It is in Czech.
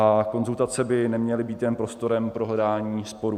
A konzultace by neměly být jen prostorem pro hledání sporů.